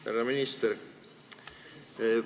Härra minister!